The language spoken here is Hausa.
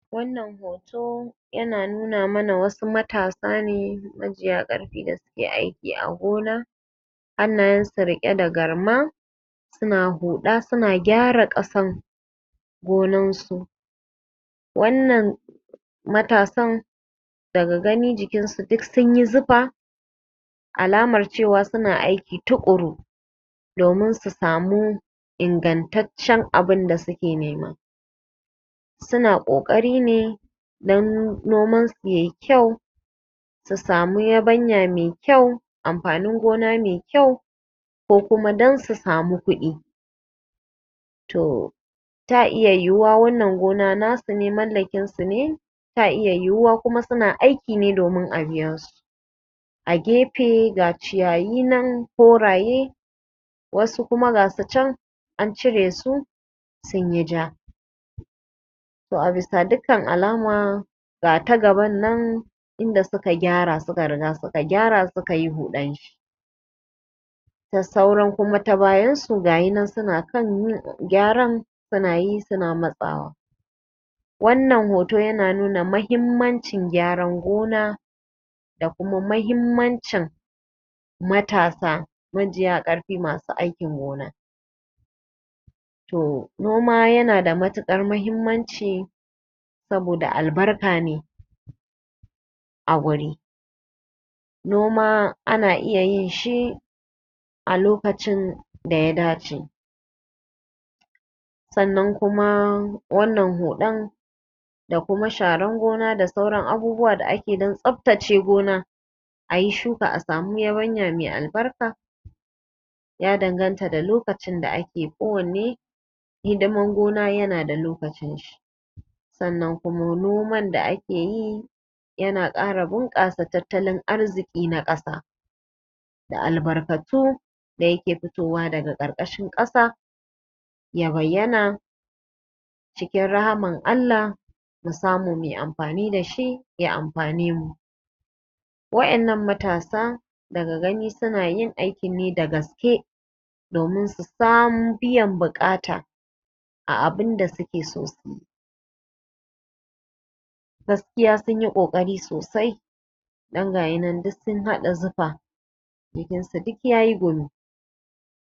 Wannan hoto yana nuna mana wassu matasa ne majiya ƙarfi waɗanda suke aiki a gona hannayensu riƙe da garma, suna huɗa suna gyara kasan gonan su. wannan matasan matasan daga gani jikinsu duk sun yi zufa alamar cewa suna aiki tuƙuru domin su samu ingantaccen abinda suke nema. Suna ƙoƙari ne dan nomansu ya yi kyau, su sami yabanya mai kyau amfanin gona mai kyau ko kuma dan su sami kudi. toh ta iya yiwuwa wannan gona nasu ne mallakinsu ne ta iya yiwuwa kuma suna aiki ne dan a biya su. A gefe ga ciyayi nan koraye wassu kuma ga su can an cire su sunyi ja. To a bisa dukkan alama ga ta gabannan inda suka gyara suka riga suka gyara suka yi huɗan shi da sauran kuma ta bayansu gashi nan suna kan yin gyaran suna yi suna matsawa' Wannan hoto yana nuna mahimmancin gyaran gona da kuma mahimmancin matasa majiya ƙarfi masu aikin gona. o noma yana da matuƙar muhimmanci saboda albarka ne a wuri noma ana iya yinshi alokacin da ya dacce sannan kuma wannan huɗan da kuma sharan gona da ake yi dan tsaftace gona a yi shuka a sami yabanya mai albarka ya danganta da lokacin da ake yin kowanne. Hidiman gona yana da lokacin shi sannan kuma noman da ake yi ya kara bunƙasa tattalin arzikin ƙasa da albarkatu da yake fitowa daga ƙarƙashin ƙasa ya bayyana cikin rahaman Allah mu samu mu yi amfani da shi ya amfane mu Waɗannan matasan daga gani suna yin aikin ne da gaske domin su sami biyan buƙata a abinda suke so su yi, gaskiya sun yi ƙoƙari sosai dan gashi nan duk sun hada zufa jikinsu duk ya yi gumi.